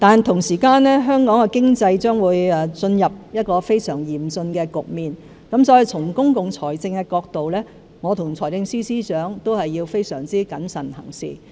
同時，香港的經濟將會進入非常嚴峻的局面，所以從公共財政的角度來看，我和財政司司長必須非常謹慎行事。